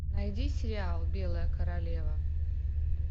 найди сериал белая королева